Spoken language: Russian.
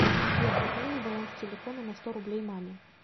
сбер пополни баланс телефона на сто рублей маме